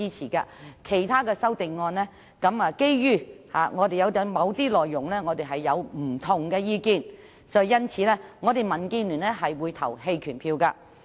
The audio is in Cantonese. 至於其他修正案，基於我們對某些內容持不同意見，因此我們民建聯會投棄權票。